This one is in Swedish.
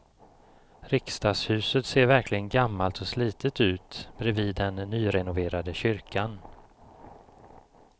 Riksdagshuset ser verkligen gammalt och slitet ut bredvid den nyrenoverade kyrkan.